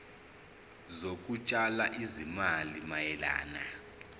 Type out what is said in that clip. zokutshala izimali mayelana